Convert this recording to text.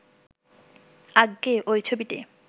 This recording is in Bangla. আজ্ঞে ঐ ছবিটে